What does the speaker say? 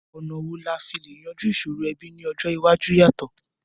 Ọ̀nà wo la fi le yanjú ìsòrò ẹbí ni ọjọ́ iwájú yàtọ̀?